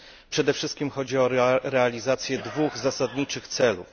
Przede wszystkim chodzi o realizację dwóch zasadniczych celów.